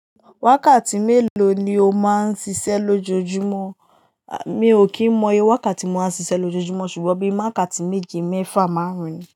Wákàtí mélòó ni o máa ń ṣiṣẹ́ lójoojúmọ́? Mi ò kí mọ iye wákàtí mo máa ń ṣiṣẹ́ lójoojúmọ́ ṣùgbọ́n bí i wákàtí méje, mẹ́fà máà ń rìn.